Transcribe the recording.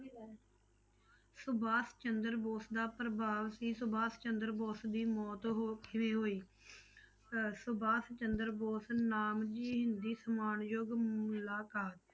ਸੁਭਾਸ਼ ਚੰਦਰ ਬੋਸ ਦਾ ਪ੍ਰਭਾਵ ਸੀ ਸੁਭਾਸ਼ ਚੰਦਰ ਬੋਸ ਦੀ ਮੌਤ ਹੋ ਕਿਵੇਂ ਹੋਈ ਅਹ ਸੁਭਾਸ਼ ਚੰਦਰ ਬੋਸ ਨਾਮ ਜੀ ਹਿੰਦੀ ਸਮਾਨਯੋਗ ਮੁਲਾਕਾਤ।